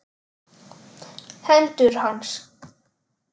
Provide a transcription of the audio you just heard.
Hendur hans.